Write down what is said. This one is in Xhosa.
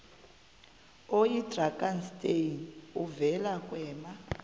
oyidrakenstein uvele kwema